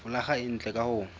folaga e ntle ka ho